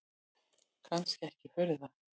Kannski ekki furða.